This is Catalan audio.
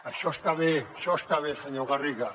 això està bé això està bé senyor garriga